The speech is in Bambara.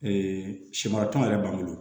sɛ mara tɔn yɛrɛ b'an bolo